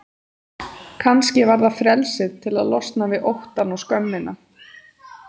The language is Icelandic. Kannski var það frelsið til að losna við óttann og skömmina.